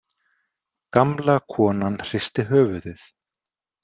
Gamla konan hristi höfuðið.